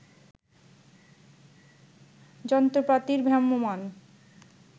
যন্ত্রপাতির ভ্রাম্যমাণ